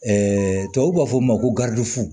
tubabuw b'a fɔ o ma ko